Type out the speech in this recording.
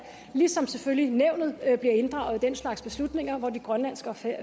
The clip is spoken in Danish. ligesom selvfølgelig nævnet bliver inddraget i den slags beslutninger hvor de grønlandske og